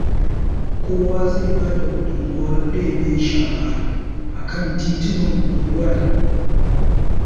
Kowa zai ba da gudunmawar ɗebe shara a kan titunan unguwar